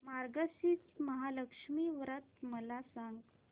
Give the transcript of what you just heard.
मार्गशीर्ष महालक्ष्मी व्रत मला सांग